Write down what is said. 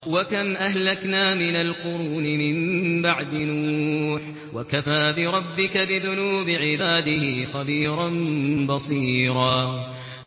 وَكَمْ أَهْلَكْنَا مِنَ الْقُرُونِ مِن بَعْدِ نُوحٍ ۗ وَكَفَىٰ بِرَبِّكَ بِذُنُوبِ عِبَادِهِ خَبِيرًا بَصِيرًا